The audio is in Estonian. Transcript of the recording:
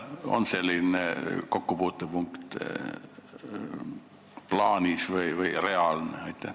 Kas selline kokkupuutepunkt on plaanis või reaalne?